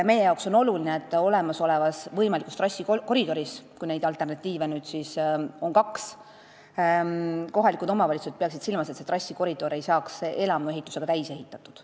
Meie jaoks on oluline, et kohalikud omavalitsused peaksid silmas, et võimalik trassikoridor, mille alternatiive on nüüd siis kaks, ei saaks elamuid täis ehitatud.